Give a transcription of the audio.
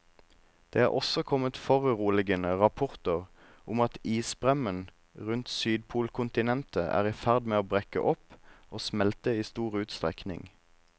Det er også kommet foruroligende rapporter om at isbremmen rundt sydpolkontinentet er i ferd med å brekke opp og smelte i stor utstrekning.